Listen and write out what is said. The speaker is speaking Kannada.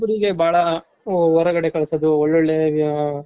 ಹುಡುಗ್ರುಗೆ ಬಾಳ ಹೊರಗಡೆ ಕಳ್ಸೋದು ಒಳ್ಳೊಳ್ಳೆ